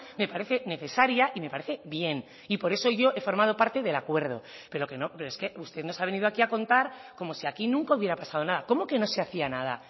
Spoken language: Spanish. me parece necesaria y me parece bien y por eso yo he formado parte del acuerdo pero que no es que usted nos ha venido aquí a contar como si aquí nunca hubiera pasado nada cómo que no se hacía nada